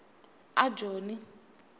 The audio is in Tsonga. ajoni